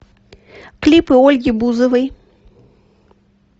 клипы ольги бузовой